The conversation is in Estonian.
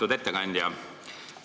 Lugupeetud ettekandja!